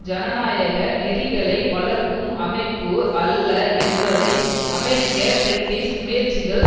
ஜனநாயக நெறிகளை வளர்க்கும் அமைப்பு அல்ல என்பதை அமெரிக்க பிரிட்டிஷ் முயற்சிகள்